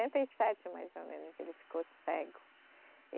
e sete mais ou menos, que ele ficou cego.